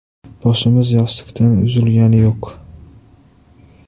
Boshimiz yostiqdan uzilgani yo‘q.